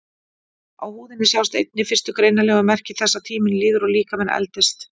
Á húðinni sjást einnig fyrstu greinanlegu merki þess að tíminn líður og líkaminn eldist.